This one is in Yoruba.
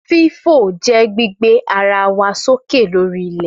Fífò je gbígbé ara wọn sókè lórí ilẹ̀